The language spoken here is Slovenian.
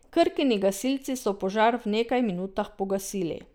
Krkini gasilci so požar v nekaj minutah pogasili.